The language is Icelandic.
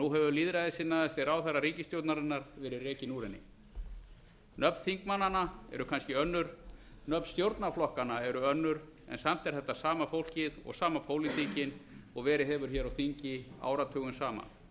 nú hefur lýðræðissinnaðasti ráðherra ríkisstjórnarinnar verið rekinn úr henni nöfn þingmannanna eru kannski önnur nöfn stjórnarflokkanna eru önnur en samt er þetta sama fólkið og sama pólitíkin og verið hefur hér á þingi áratugum saman